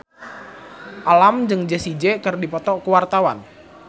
Alam jeung Jessie J keur dipoto ku wartawan